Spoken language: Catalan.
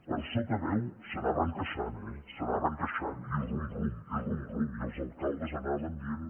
a sota veu s’anaven queixant eh s’anaven queixant i rum rum i rum rum i els alcaldes anaven dient